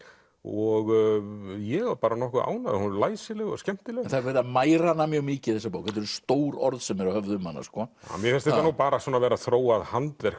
og ég var bara nokkuð ánægður hún var læsileg og skemmtileg það er verið að mæra hana mjög mikið þessa bók þetta eru stór orð sem eru höfð um hana sko mér finnst þetta nú bara vera þróað handverk